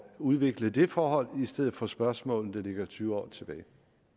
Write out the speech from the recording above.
udvikle det forhold i stedet for spørgsmål der ligger tyve år tilbage